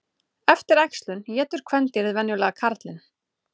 Eftir æxlun étur kvendýrið venjulega karlinn.